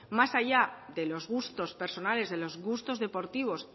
más allá de los gustos personales de los gustos deportivos